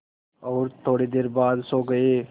और थोड़ी देर बाद सो गए